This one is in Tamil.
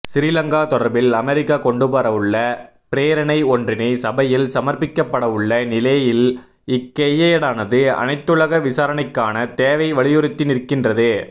சிறிலங்கா தொடர்பில் அமரிக்கா கொண்டுவரவுள்ள பிரேரணை ஒன்றினை சபையில் சமர்பிக்கப்படவுள்ள நிலையில் இக்கையேடானது அனைத்துலக விசாரணைக்கான தேவை வலியுறுத்தி நிற்கின்றது